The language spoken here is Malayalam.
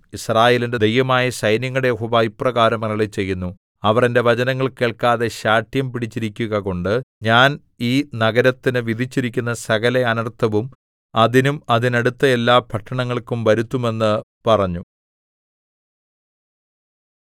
യിസ്രായേലിന്റെ ദൈവമായ സൈന്യങ്ങളുടെ യഹോവ ഇപ്രകാരം അരുളിച്ചെയ്യുന്നു അവർ എന്റെ വചനങ്ങൾ കേൾക്കാതെ ശാഠ്യംപിടിച്ചിരിക്കുകകൊണ്ട് ഞാൻ ഈ നഗരത്തിനു വിധിച്ചിരിക്കുന്ന സകല അനർത്ഥവും അതിനും അതിനടുത്ത എല്ലാ പട്ടണങ്ങൾക്കും വരുത്തും എന്ന് പറഞ്ഞു